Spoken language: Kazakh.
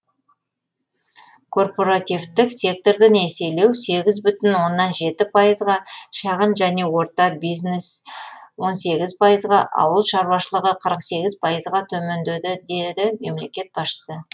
корпоративтік секторды несиелеу сегіз бүтін оннан жеті пайызға шағын және орта бизнес он сегіз пайызға ауыл шаруашылығы қырық сегіз пайызға төмендеді деді мемлекет басшысы